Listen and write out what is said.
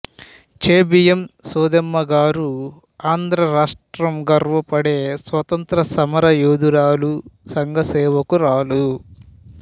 చేబియ్యం సోదెమ్మ గారు ఆంధ్రరాష్టం గర్వపడే స్వాతంత్ర్య సమరయోధురాలు సంఘసేవకురాలు